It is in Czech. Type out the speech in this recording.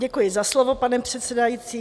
Děkuji za slovo, pane předsedající.